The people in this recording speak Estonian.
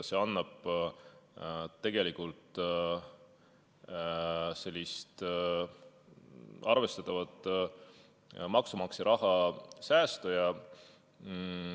See annab tegelikult maksumaksja raha arvestatava säästu.